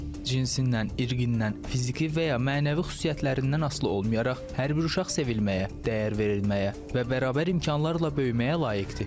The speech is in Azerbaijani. Cinsindən, irqindən, fiziki və ya mənəvi xüsusiyyətlərindən asılı olmayaraq hər bir uşaq sevilməyə, dəyər verilməyə və bərabər imkanlarla böyüməyə layiqdir.